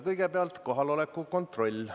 Kõigepealt kohaloleku kontroll.